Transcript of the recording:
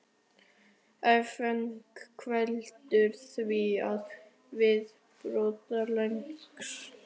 Áfengi veldur því að viðbragðstíminn lengist.